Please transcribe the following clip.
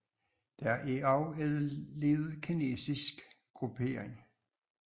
Der er også en lille kinesisk gruppering